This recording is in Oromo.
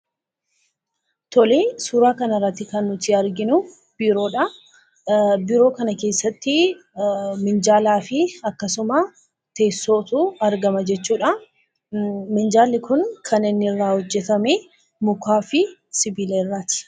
Suuraa kanarratti kan nuti arginu biiroodha. Biiroo kana keessatti miinjalaa fi teessootu argama jechuudha. Manni kun kan hojjatame mukaa fi sibiila irraati.